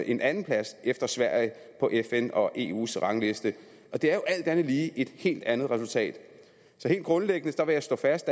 en andenplads efter sverige på fn og eus rangliste og det er jo alt andet lige et helt andet resultat så helt grundlæggende vil jeg slå fast